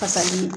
Fasali